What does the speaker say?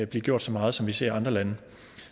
blive gjort så meget som vi ser i andre lande